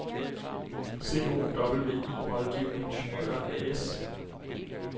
COWI Rådgivende Ingeniører AS